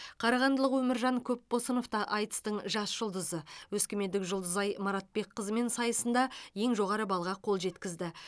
қарағандылық өміржан көпбосынов та айтыстың жас жұлдызы өскемендік жұлдызай маратбекқызымен сайысында ең жоғары баллға қол жеткізді